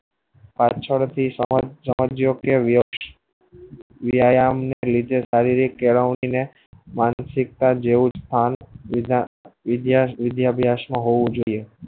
પાછળ થી સાંજ સાંજ વખતે વેત વ્યાયામ કે શારીરિક માનસિકતા જેવો સ્થાન મિલા એય બીજા વિદ્યાર્થી હોવા જોયીયે